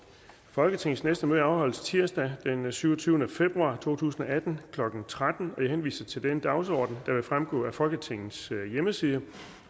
folketingets næste møde afholdes tirsdag den syvogtyvende februar to tusind og atten klokken tretten jeg henviser til den dagsorden der vil fremgå af folketingets hjemmeside